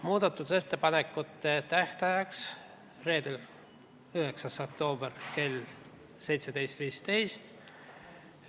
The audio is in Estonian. Muudatusettepanekute tähtajaks oli 9. oktoober kell 17.15.